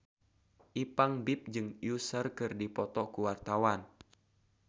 Ipank BIP jeung Usher keur dipoto ku wartawan